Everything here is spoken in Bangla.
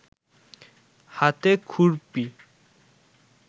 হাতে খুরপি